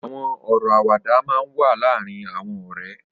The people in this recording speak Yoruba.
Awọn ọrọ àwàdà mà n wà làárin awọn ọrẹ